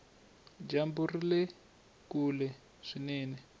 dyambu rile kule swinene